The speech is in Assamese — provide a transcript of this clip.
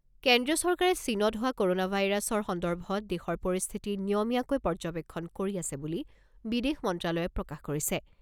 কেন্দ্ৰীয় চৰকাৰে চীনত হোৱা ক'ৰোনা ভাইৰাছৰ সন্দৰ্বত দেশৰ পৰিস্থিতি নিয়মীয়াকৈ পৰ্য্যবেক্ষণ কৰি আছে বুলি বিদেশ মন্ত্ৰালয়ে প্ৰকাশ কৰিছে।